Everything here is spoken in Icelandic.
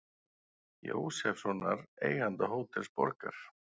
Jósefssonar, eiganda Hótels Borgar.